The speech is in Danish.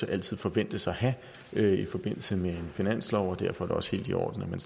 altid forventes at have i forbindelse med en finanslov og derfor er det også helt i orden at man